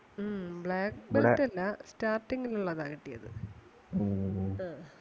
ഉം black belt അല്ല starting ൽ ഒള്ളതാ കിട്ടിയത്. ആഹ്